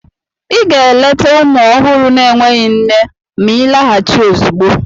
Ị ga-eleta ụmụ ọhụrụ na-enweghị nne ma ịlaghachi ozugbo!